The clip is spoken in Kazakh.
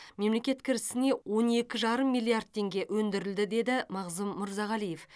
мемлекет кірісіне он екі жарым миллиард теңге өндірілді деді мағзұм мырзағалиев